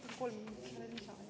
Palun kolm minutit lisaks.